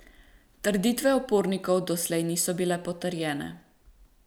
Trditve upornikov doslej niso bile potrjene.